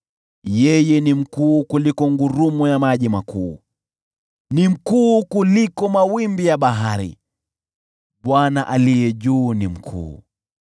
Yeye ni mkuu kuliko ngurumo ya maji makuu, ni mkuu kuliko mawimbi ya bahari: Bwana aishiye juu sana ni mkuu.